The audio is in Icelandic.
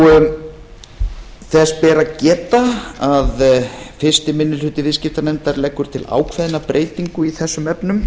staðinn þess ber að geta að fyrsti minni hluti viðskiptanefndar leggur til ákveðna breytingu í þessum efnum